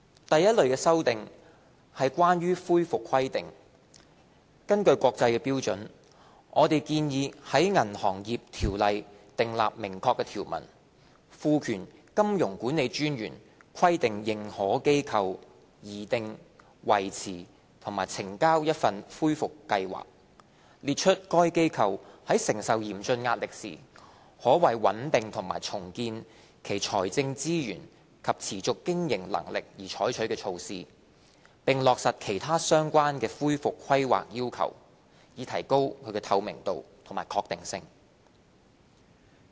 第一類的修訂是關於恢復規劃，根據國際標準，我們建議在《銀行業條例》訂立明確條文，賦權金融管理專員規定認可機構擬訂、維持和呈交一份恢復計劃，列出該機構在承受嚴峻壓力時，可為穩定和重建其財政資源及持續經營能力而採取的措施，並落實其他相關的恢復規劃要求，以提高透明度及確定性。